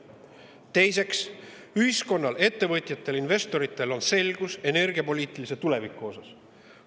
Teiseks, ühiskonnal, ettevõtjatel, investoritel on energiapoliitilise tuleviku kohta selgus.